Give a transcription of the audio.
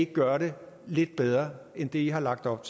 gøre det lidt bedre end det i har lagt op